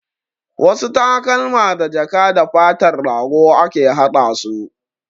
Wasu takalma da jaka da fatar rago ake hada su